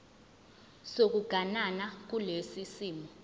sokuganana kulesi simo